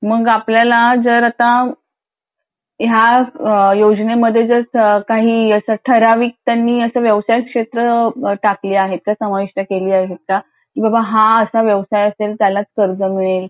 मग आपल्याला आता जर ह्या योजने मध्ये जर काही त्यांनी ठराविक व्यवसाय क्षेत्र टाकली आहेत का की समावेश केली आहेत का की बाबा हा असा व्यवसाय असेल तर त्यालाच कर्ज मिळेल .